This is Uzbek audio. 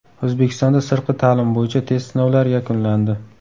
O‘zbekistonda sirtqi ta’lim bo‘yicha test sinovlari yakunlandi.